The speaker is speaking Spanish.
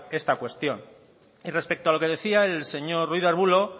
esta cuestión y respecto a lo que decía el señor ruiz de arbulo